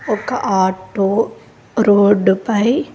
ఒక auto road పై.